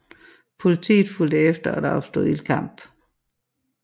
Politiet fulgte efter og der opstod ildkamp